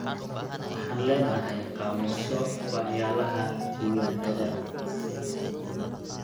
Waxaan leenahay qaamuusyo waxyalaha diiwaanada .